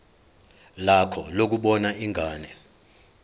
lakho lokubona ingane